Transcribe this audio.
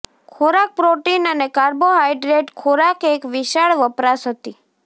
ખોરાક પ્રોટીન અને કાર્બોહાઇડ્રેટ ખોરાક એક વિશાળ વપરાશ હતી